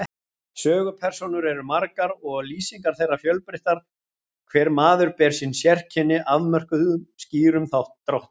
Sögupersónur eru margar og lýsingar þeirra fjölbreyttar, hver maður ber sín sérkenni, mörkuð skýrum dráttum.